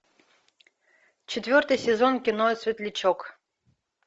четвертый сезон кино светлячок